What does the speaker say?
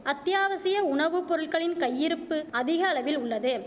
அத்தியாவசிய உணவுப்பொருள்களின் கையிருப்பு அதிகளவில் உள்ளது